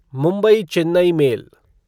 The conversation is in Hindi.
मुंबई चेन्नई मेल